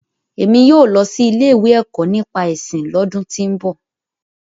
Emi yóò lọ si ile-iwe Ẹkọ nipa ẹsin lọ́dùn ti ń bọ.